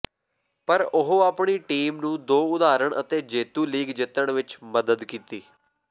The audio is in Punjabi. ਪਰ ਉਹ ਆਪਣੀ ਟੀਮ ਨੂੰ ਦੋ ਉਦਾਹਰਣ ਅਤੇ ਜੇਤੂ ਲੀਗ ਜਿੱਤਣ ਵਿਚ ਮਦਦ ਕੀਤੀ